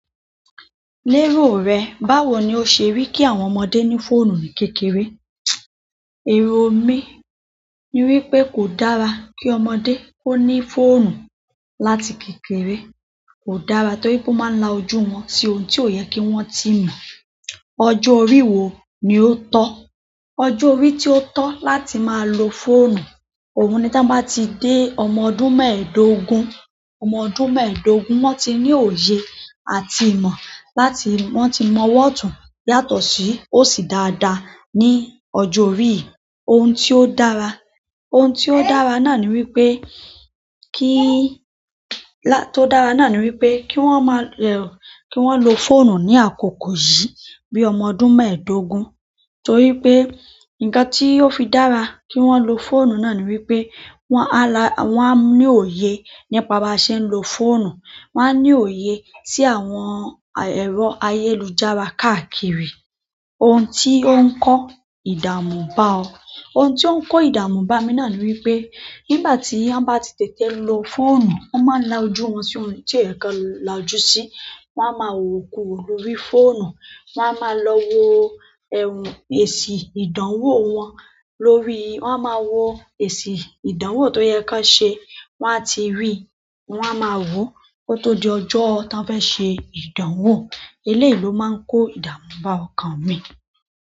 Lérò rẹ, báwo ni o ṣe rí kí àwọn ọmọdé ní fóònù ní kékeré? Èrò mi ni wípé kò dára kí ọmọdé ó ní fóònù láti kékeré. Kò dára torí pé ó máa ń la ojú wọn sí ohun tí ó yẹ kí wọ́n ti mọ̀. Ọjọ́ orí wo ni ó tọ́? Ọjọ́ orí tí ó tọ́ láti máa lo fóònù, òun ni tí wọ́n bá ti dé ọmọ ọdún mẹ́ẹ̀dógún. Ọmọ ọdún mẹ́ẹ̀dógún, wọ́n ti ní òye àti ìmọ̀ láti wọ́n ti mọ ọ́tun yàtọ̀ sí ó sì dáadáa ní ọjọ́ orí. Ohun tí ó dára, ohun tí ó dára náà ni wípé kí-- lá-- tí ó dára náà ni wípé kí wọ́n máa rẹ̀ o-- kí wọ́n lo fóònù ní àkókò yìí bí i ọmọ ọdún mẹ́ẹ̀dógún. Torí pé nǹkan tí yóò fi dára kí wọ́n lo fóònù náà ni wípé wọn á la-- wọ́n á ní òye nípa bá ṣe ń lo fóònù. Wọn á ní òye sí àwọn, ày- ẹ̀rọ ayélujára káàkiri. Ohun tí ó ń kó ìdààmú bá ọ? Ohun tí ó ń kó ìdààmú bá mi náà ni wípé nígbà tí wọ́n bá ti tẹ̀tẹ̀ lo fóònù, wọ́n máa ń la ojú wọn sí ohun tí ẹ̀ kan làjú sí. Wọ́n á máa wòwo kúwo lórí fóònù. Wọ́n á máa lọ wo ẹrù èsì ìdánwò wọn lórí-- wọ́n á máa wo èsì ìdánwò tó yẹ kí wọn ṣe. Wọn á ti rí i, wọ́n á máa wò ó tó di ọjọ́ tí wọ́n fẹ́ ṣe ìdánwò. Eléèlo máa ń kó ìdààmú bá ọkàn mi.